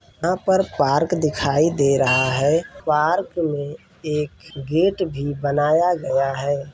यहां पर एक पार्क दिखाई दे रहा है पार्क में एक गेट भी बनाया गया हैं।